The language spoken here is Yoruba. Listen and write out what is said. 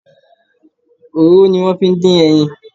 Òróró ni wón fi ń dín ẹyin.